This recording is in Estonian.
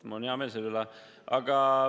Mul on hea meel selle üle.